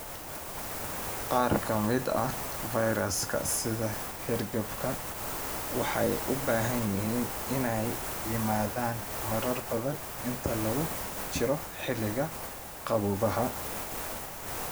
Qaar ka mid ah fayrasyada sida hargabka waxay u badan yihiin inay yimaadaan marar badan inta lagu jiro xilliga qaboobaha.